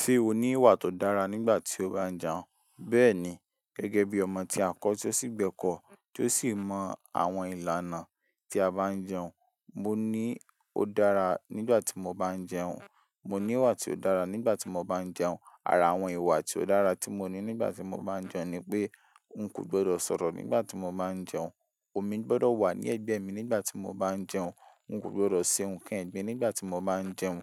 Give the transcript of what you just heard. Ṣé o ní ìwà tó dára nígbà tí o báa ń jẹun. Bẹ́ẹ̀ni, gẹ́gẹ́ bí ọmọ tí a kọ́ tí ó sì gbẹ́kọ̀ọ́ tí ó sì mọ àwọn ìlànà tí a bá ń jẹun. Mo ní o dára nígbà tí mo bá ń jẹun. Mo ní ìwà tí ó dára nígbà tí mo bá ń jẹun. Ara àwọn ìwà tí ó dára tí mo ní nígbà tí mo bá ń jẹun ni pé n kò gbọdọ̀ sọ̀rọ̀ nígbà tí mo bá ń jẹun, omi gbọdọ̀ wà ní ẹ̀gbẹ́ mi nígbà tí mo bá ń jẹun, n kò gbọdọ̀ se nǹkan ẹ̀gbin nígbà tí mo bá ń jẹun.